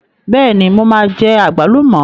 Bẹ́ẹ̀ni, mo máa jẹ àgbálùmọ̀